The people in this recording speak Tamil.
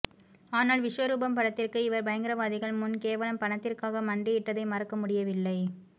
ஆனால் விஸ்வரூபம் படத்திற்கு இவர் பயங்ரவாதிகள் முன் கேவலம் பணத்திற்காக மண்டியிட்டதை மறக்க முடியவில்லை